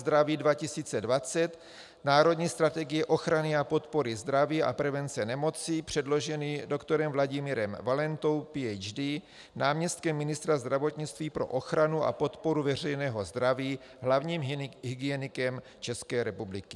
Zdraví 2020 - Národní strategii ochrany a podpory zdraví a prevence nemocí předložený doktorem Vladimírem Valentou, PhD., náměstkem ministra zdravotnictví pro ochranu a podporu veřejného zdraví, hlavním hygienikem České republiky.